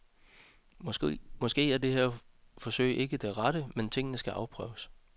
Måske er det her forsøg ikke det rette, men tingene skal afprøves.